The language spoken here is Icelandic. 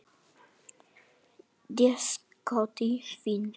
Déskoti fínt.